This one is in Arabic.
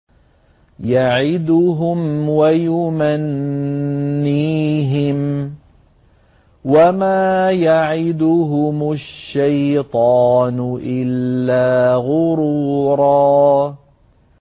يَعِدُهُمْ وَيُمَنِّيهِمْ ۖ وَمَا يَعِدُهُمُ الشَّيْطَانُ إِلَّا غُرُورًا